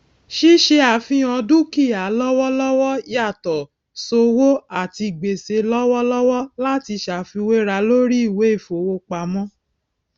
ṣíṣe àfihàn dúkìá lọwọlọwọ yàtọ sówó àti gbèsè lọwọlọwọ láti ṣàfiwéra lórí ìwé ìfowópamọ